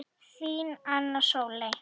Þín, Anna Sóley.